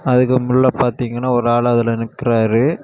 அதுக்குள்ள பாத்தீங்கன்னா ஒரு ஆளு அதுல நிக்கிறாரு.